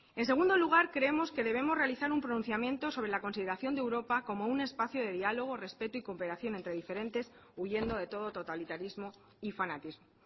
en segundo lugar creemos que debemos realizar un pronunciamiento sobre la consideración de europa como un espacio de diálogo respeto y cooperación entre diferentes huyendo de todo totalitarismo y fanatismo